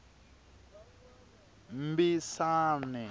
mbisane